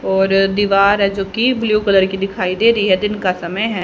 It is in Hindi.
और दीवार है जोकि ब्लू कलर की दिखाई दे रही है दिन का समय है।